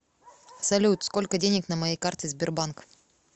салют сколько денег на моей карте сбербанк